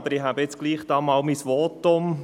Aber ich halte nun doch einmal mein Votum.